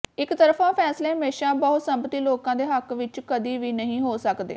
ਇਕਤਰਫਾ ਫੈਸਲੇ ਹਮੇਸਾ ਬਹੁਸੰਮਤੀ ਲੋਕਾਂ ਦੇ ਹੱਕ ਵਿਚ ਕਦੀਂ ਵੀ ਨਹੀਂ ਹੋ ਸਕਦੇ